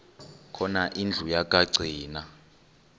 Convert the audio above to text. khona indlu yokagcina